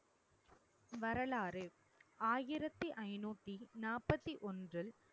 வரலாறு ஆயிரத்தி ஐநூத்தி நாற்பத்தி ஒன்று